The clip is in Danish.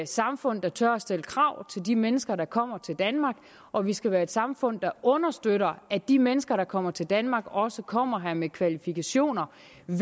samfund der tør at stille krav til de mennesker der kommer til danmark og vi skal være et samfund der understøtter at de mennesker der kommer til danmark også kommer her med kvalifikationer